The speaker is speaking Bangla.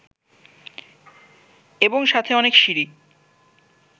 এবং সাথে অনেক সিঁড়ি